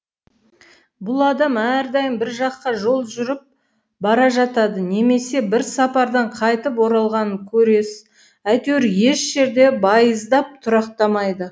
бұл адам әрдайым бір жаққа жол жүріп бара жатады немесе бір сапардан қайтып оралғанын көресіз әйтеуір еш жерде байыздап тұрақтамайды